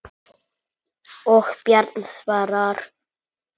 Og Bjarni svarar.